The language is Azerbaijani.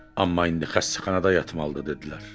Amma indi xəstəxanada yatmalıdır dedilər.